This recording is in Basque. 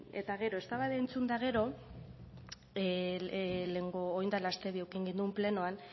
bueno eta gero eztabaida entzun eta gero lehenengo orain dela aste bi eduki genuen plenoan